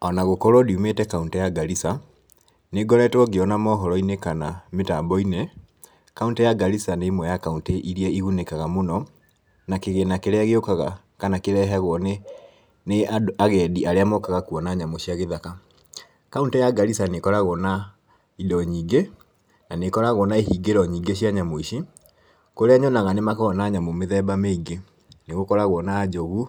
Ona gũkorwo ndiumĩte kauntĩ ya Garissa, nĩ ngoretwo ngĩona mohoro-inĩ kana mĩtambo-inĩ, kauntĩ ya Garissa nĩ ĩmwe ya kauntĩ iria igunĩkaga mũno, na kĩgĩna kĩrĩa gĩũkaga kana kĩrehagwo nĩ nĩ agendi arĩa mokaga kuona nyamũ cia gĩthaka. Kauntĩ ya Garissa nĩ ĩkoragwo na indo nyingĩ, na nĩ ĩkoragwo na ihingĩro nyingĩ cia nyamũ ici, kũrĩa nyonaga nĩ makoragwo na nyamũ mĩthemba mĩingĩ, nĩ gũkoragwo na njogu,